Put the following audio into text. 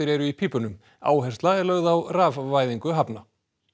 eru í pípunum áhersla er lögð á rafvæðingu hafna